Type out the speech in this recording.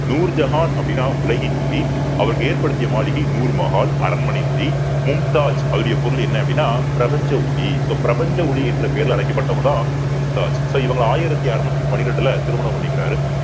நூறு ஜஹான் அப்படின்னா உலகின் ஒளி அவருக்கு ஏற்படுத்திய மாளிகை நூறு மஹால் அரண்மனை ஒளி மும்தாஜ் அவருடைய பொருள் என்ன அப்படின்னா பிரபஞ்ச ஒளி so பிரபஞ்ச ஒளி என்ற பெயரிலே அழைக்கப்பட்டவங்கதான் மும்தாஜ் so இவங்க ஆயிரத்து அறுநூற்று பன்னிரண்டுல திருமணம் பண்ணிக்கிறாரு